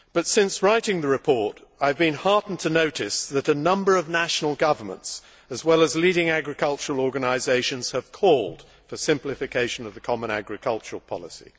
Since writing the report, I have been heartened to notice that a number of national governments, as well as leading agricultural organisations, have called for simplification of the common agricultural policy.